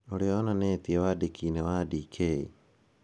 ũrĩa onanĩtie wandĩki-inĩ wake Dk.